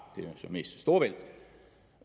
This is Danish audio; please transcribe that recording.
så mest storebælt